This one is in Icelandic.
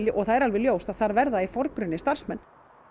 það er alveg ljóst að þar verða í forgrunni starfsmenn